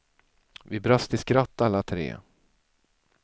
Vi brast i skratt alla tre.